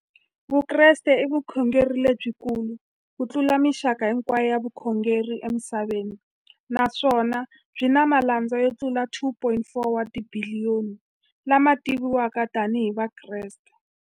Vukreste i vukhongeri lebyi kulu kutlula mixaka hinkwayo ya vukhongeri emisaveni, naswona byi na malandza yo tlula 2.4 wa tibiliyoni, la ma tiviwaka tani hi Vakreste.